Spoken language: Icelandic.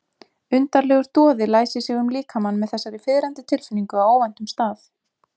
Undarlegur doði læsir sig um líkamann með þessari fiðrandi tilfinningu á óvæntum stað.